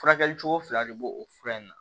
Furakɛli cogo fila de b'o o fura in na